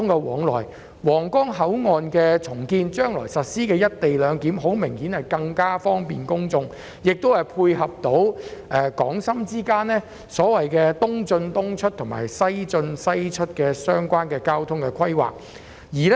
重建皇崗口岸，將來實施"一地兩檢"，顯然更為方便公眾，亦可配合港深之間"東進東出、西進西出"的交通規劃。